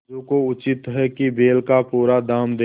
समझू को उचित है कि बैल का पूरा दाम दें